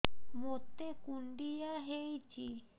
ମୋତେ କୁଣ୍ଡିଆ ହେଇଚି